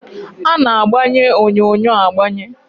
A na-agbanye onyonyo agbanye